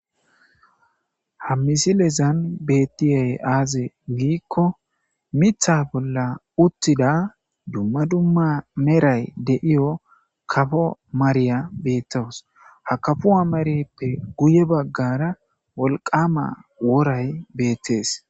Ha misilezan bettiyay aaze giikko mitha bolla uttida dumma dumma meray de7iyo kafo mariya beettoos ha kafuha mareppe guye baggara wolqama woray beettees.